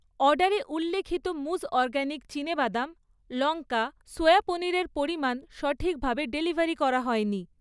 অর্ডারে উল্লিখিত মুজ অরগ্যানিক চিনেবাদাম লঙ্কা সোয়া পনিরের পরিমাণ সঠিকভাবে ডেলিভারি করা হয়নি